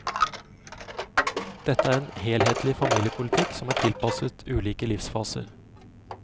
Dette er en helhetlig familiepolitikk som er tilpasset ulike livsfaser.